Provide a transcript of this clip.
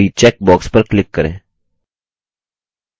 अतः इसके विपरीत check box पर click करें